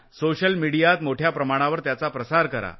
social मीडियात मोठ्या प्रमाणावर त्याचा प्रसार करा